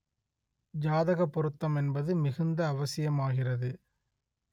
ஜாதக பொருத்தம் என்பது மிகுந்த அவசியமாகிறது